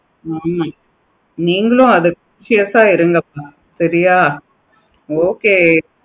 ஆமா நீங்களும் assurance ஆஹ் இருக்குங்க சரியா okay